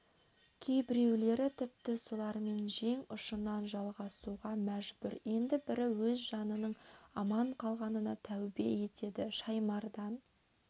кейбіреулері тіпті солармен жең ұшынан жалғасуға мәжбүр енді бірі өз жанының аман қалғанына тәубе етеді шаймардан